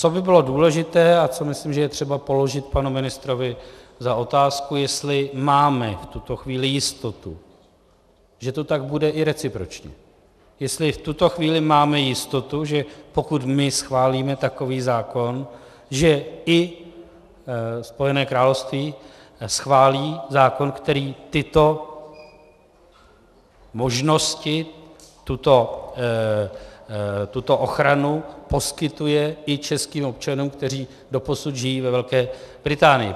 Co by bylo důležité a co myslím, že je třeba položit panu ministrovi za otázku, je, jestli máme v tuto chvíli jistotu, že to tak bude i recipročně, jestli v tuto chvíli máme jistotu, že pokud my schválíme takový zákon, že i Spojené království schválí zákon, který tyto možnosti, tuto ochranu poskytuje i českým občanům, kteří doposud žijí ve Velké Británii.